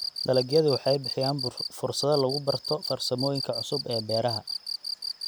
Dalagyadu waxay bixiyaan fursado lagu barto farsamooyinka cusub ee beeraha.